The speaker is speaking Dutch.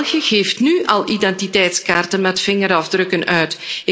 België geeft nu al identiteitskaarten met vingerafdrukken uit.